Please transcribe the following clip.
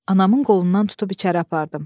Anamın qolundan tutub içəri apardım.